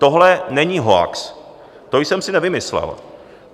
Tohle není hoax, to jsem si nevymyslel.